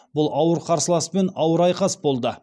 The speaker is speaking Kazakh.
бұл ауыр қарсыласпен ауыр айқас болды